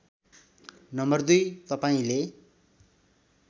number २ तपाईँले